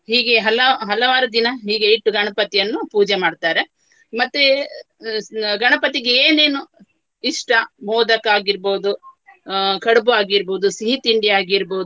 ಹೀಗೆ ಹಲವು ಹಲವಾರು ದಿನ ಹೀಗೆ ಇಟ್ಟು ಗಣಪತಿಯನ್ನು ಪೂಜೆ ಮಾಡ್ತಾರೆ. ಮತ್ತೆ ಅಹ್ ಅಹ್ ಗಣಪತಿಗೆ ಏನೇನು ಇಷ್ಟ ಮೋದಕ ಆಗಿರ್ಬಹುದು ಅಹ್ ಕಡ್ಬು ಆಗಿರ್ಬಹುದು ಸಿಹಿತಿಂಡಿ ಆಗಿರ್ಬಹುದು.